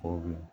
O bi